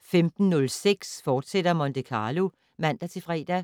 15:06: Monte Carlo, fortsat (man-fre)